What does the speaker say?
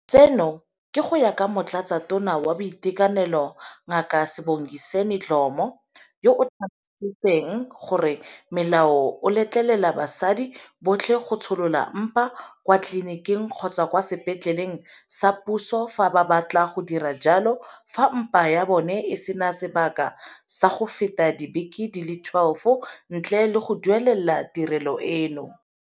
Seno ke go ya ka Motlatsatona wa Boitekanelo Ngaka Sibongiseni Dhlomo, yo a tlhalosang gore molao o letlelela basadi botlhe go tsholola mpa kwa tleliniking kgotsa kwa sepetleleng sa puso fa ba batla go dira jalo fa mpa ya bona e se na sebaka sa go feta dibeke di le 12, ntle le go duelela tirelo eno.